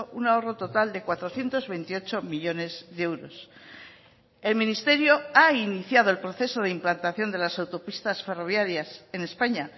un ahorro total de cuatrocientos veintiocho millónes de euros el ministerio ha iniciado el proceso de implantación de las autopistas ferroviarias en españa